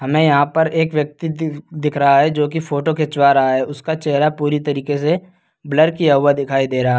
हमें यहां पर एक व्यक्ति दि दिख रहा है जो कि फोटो खींचवा रहा है। उसका चेहरा पूरी तरीके से ब्लर किया हुआ दिखाइ दे रहा --